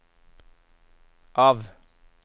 av